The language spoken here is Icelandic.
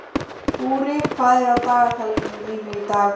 Búri, hvað er á dagatalinu mínu í dag?